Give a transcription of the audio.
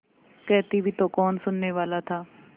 कहती भी तो कौन सुनने वाला था